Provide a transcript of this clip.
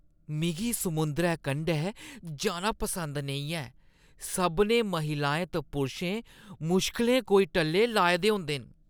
मिगी समुंदरै कंढै जाना पसंद नेईं ऐ। सभनें महिलाएं ते पुरशें मुश्कलें कोई टल्ले लाए दे होंदे न।